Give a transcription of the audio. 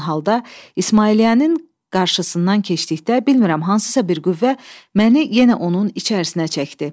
Yorğun halda İsmailliyənin qarşısından keçdikdə, bilmirəm hansısa bir qüvvə məni yenə onun içərisinə çəkdi.